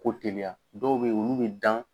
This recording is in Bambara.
Ko teliya dɔw bɛ yen olu bɛ dan.